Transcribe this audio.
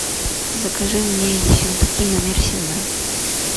закажи мне ессентуки номер семнадцать